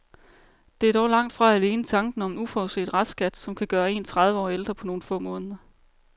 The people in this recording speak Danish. Det er dog langt fra alene tanken om en uforudset restskat, som kan gøre en tredive år ældre på nogle få måneder.